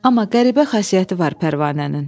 Amma qəribə xasiyyəti var Pərvanənin.